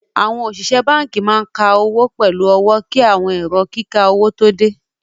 Awọn osìsẹ̀ bánkì máa n kà owó pẹ̀lú ọwọ̀ kí awọn èrò kíkà owó tó dẹ.